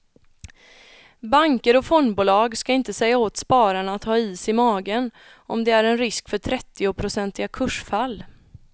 Banker och fondbolag ska inte säga åt spararna att ha is i magen om det är en risk för trettionprocentiga kursfall.